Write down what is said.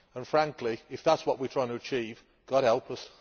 Frankly, if that is what we are trying to achieve, God help us.